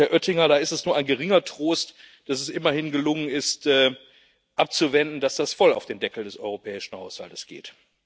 Und, Herr Oettinger, da ist es nur ein geringer Trost, dass es immerhin gelungen ist abzuwenden, dass das voll auf den Deckel des europäischen Haushaltes geht.